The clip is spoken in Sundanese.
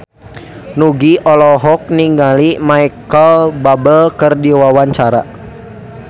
Nugie olohok ningali Micheal Bubble keur diwawancara